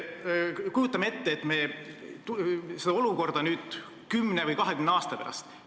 Kujutame nüüd ette seda olukorda kümne või kahekümne aasta pärast.